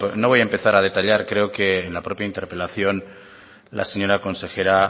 no voy a empezar a detallar creo que en la propia interpelación la señora consejera